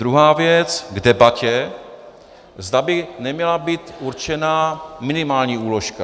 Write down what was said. Druhá věc k debatě, zda by neměla být určena minimální úložka.